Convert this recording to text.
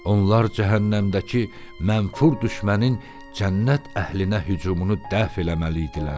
Onlar cəhənnəmdəki mənfur düşmənin cənnət əhlinə hücumunu dəf eləməli idilər.